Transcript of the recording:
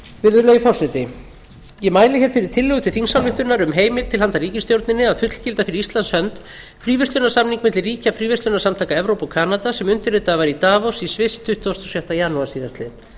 virðulegi forseti ég mæli hér fyrir tillögu til þingsályktunar um heimild til handa ríkisstjórninni að fullgilda fyrir íslands hönd fríverslunarsamning milli ríkja fríverslunarsamtaka evrópu og kanada sem undirritaður var í davos í sviss tuttugasta og sjötta janúar síðastliðnum